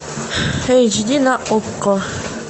эйч ди на окко